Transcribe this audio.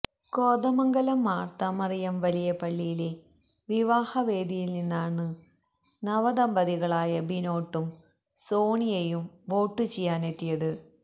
കോതമംഗലം മര്ത്തമറിയം വലിയ പള്ളിയിലെ വിവാഹ വേദിയില് നിന്നാണ് നവദമ്പതികളായ ബിനോട്ടും സോണിയയും വോട്ടുചെയ്യാനെത്തിയത്